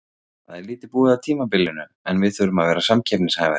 Það er lítið búið af tímabilinu en við þurfum að vera samkeppnishæfari.